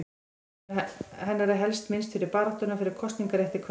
Hennar er helst minnst fyrir baráttuna fyrir kosningarétti kvenna.